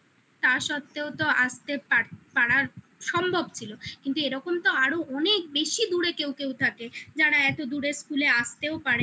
তা সত্ত্বেও তো আসতে পাড়ার সম্ভব ছিল কিন্তু এরকম তো আরো অনেক বেশি দূরে কেউ কেউ থাকে যারা এত দূরে school এ আসতেও পারে না